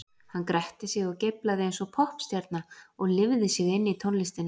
Hann gretti sig og geiflaði eins og poppstjarna og lifði sig inn í tónlistina.